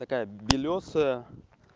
такая белёсая